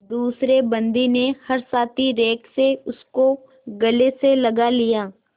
दूसरे बंदी ने हर्षातिरेक से उसको गले से लगा लिया